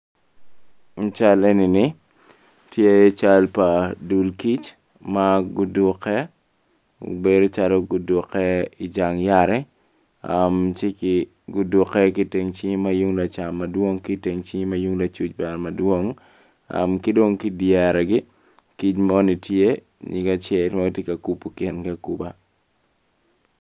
Cal enini tye cal pa dul kic maguduke bedo calo guduke i jang yat ci kik guduke gitim cing ma yung lacam madwong ki teng cing mayung lacuc bene madwong kidong kidyere di kic moni tye nyige acel matye ka kubo kingi akuba.